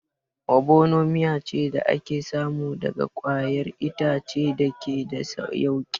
Obono miya ce da ake samu daga ƙwayar itace da ke da yauƙi